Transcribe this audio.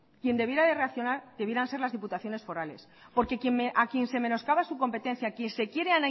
quien debiera de reaccionar deberían ser las diputaciones forales porque a quien se menoscaba su competencia a quien se quiere